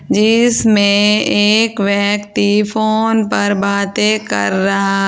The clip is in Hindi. जिसमें एक व्यक्ति फोन पर बातें कर रहा--